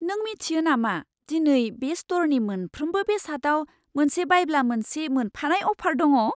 नों मिथियो नामा दिनै बे स्ट'रनि मोनफ्रोमबो बेसादाव मोनसे बायब्ला मोनसे मोनफानाय अफार दङ'?